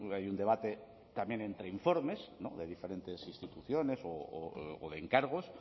hay un debate también entre informes de diferentes instituciones o de encargos